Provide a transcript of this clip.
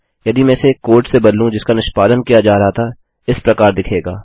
यदि मैं इसे एक कोड से बदलूँ जिसका निष्पादन किया जा रहा था यह इस प्रकार दिखेगा